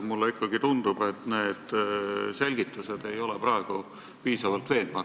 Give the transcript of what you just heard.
Mulle ikkagi tundub, et selgitused ei ole praegu piisavalt veenvad.